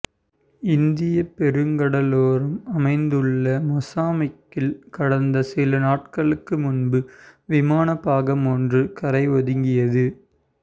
இந்திய பெருங்கடலோரம் அமைந்துள்ள மொசாம்பிக்கில் கடந்த சில நாட்களுக்கு முன்பு விமான பாகம் ஒன்று கரை ஒதுங்கியது